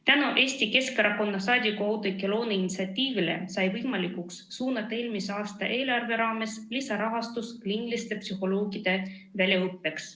Tänu Eesti Keskerakonna liikme Oudekki Loone initsiatiivile sai võimalikuks suunata eelmise aasta eelarve raames lisaraha kliiniliste psühholoogide väljaõppesse.